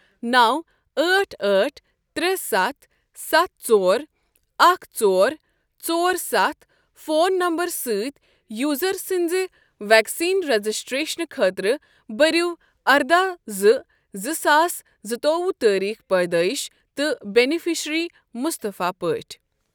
نَو أٹھ أٹھ تٛرے ستھ ستھ ژور اکھ ژور ژور ستھ فون نمبرٕ سۭتۍ یوزر سٕنٛز ویکسیٖن رجسٹریشن خٲطرٕ بٔرِو ارداہ زٕ زٕ ساس زٕتوُہ تٲریٖخ پیدٲئش تہٕ بینِفیشرِی مُصطفیٰ پٲٹھۍ ۔